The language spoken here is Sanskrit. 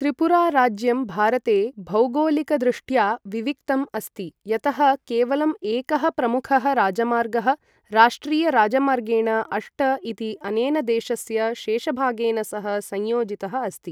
त्रिपुरा राज्यं भारते भौगोलिकदृष्ट्या विविक्तम् अस्ति, यतः केवलं एकः प्रमुखः राजमार्गः राष्ट्रियराजमार्गेण अष्ट इति अनेन देशस्य शेषभागेन सह संयोजितः अस्ति।